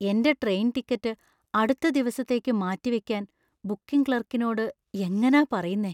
എന്‍റെ train ticket അടുത്ത ദിവസത്തേക്ക് മാറ്റിവയ്ക്കാൻ ബുക്കിംഗ് ക്ലാർക്കിനോട് എങ്ങനാ പറയുന്നേ?